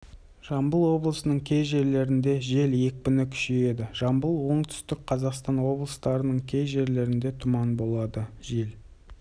жамбыл облысының кей жерлерінде жел екпіні күшейеді жамбыл оңтүстік қазақстан облыстарының кей жерлерінде тұман болады жел